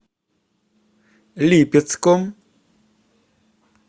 липецком